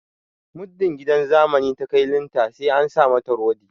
Muddin gidan zamani ta kai linta sai an sa mata rodi